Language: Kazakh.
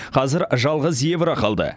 қазір жалғыз евро қалды